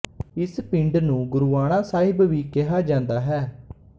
ਇਸ ਪਿੰਡ ਨੂੰ ਗੁਰੂਆਣਾ ਸਾਹਿਬ ਵੀ ਕਿਹਾ ਜਾਂਦਾ ਹੈ